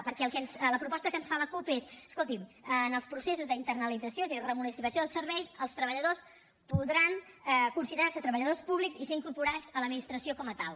perquè la proposta que ens fa la cup és escoltin en els processos d’internalització és a dir remunicipalització dels serveis els treballadors podran considerar se treballadors públics i ser incorporats a l’administració com a tal